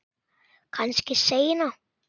Kannski seinna.